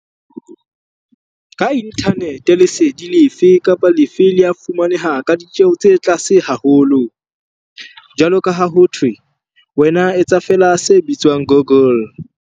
Ka inthanete lesedi lefe kapa lefe le a fumaneha ka ditjeho tse tlase haholo - jwalo ka ha ho thwe 'wena etsa feela se bitswang google.